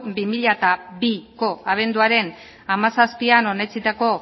bi mila biko abenduaren hamazazpian onetsitako